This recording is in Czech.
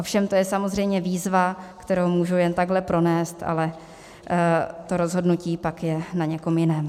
Ovšem to je samozřejmě výzva, kterou můžu jen takhle pronést, ale to rozhodnutí je pak na někom jiném.